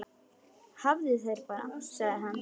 Hafðu þær bara, sagði hann.